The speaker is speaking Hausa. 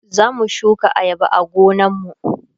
zamu shuka ayaba a gonan mu